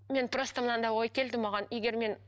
мен просто мынандай ой келді маған егер мен